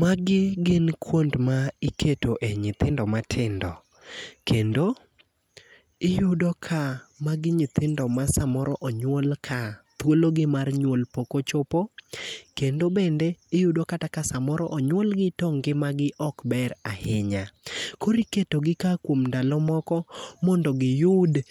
Magi gi kuond ma iketo e nyithindo matindo. Kendo, iyudo ka magi nyithindo ma samoro onyuol ka thuolo gi mar nyuol pok ochopo. Kendo bende, iyudo kata ka samoro onyuolgi to ngima gi okber ahinya. Koro iketo gi ka kuom ndalo moko, mondo giyud,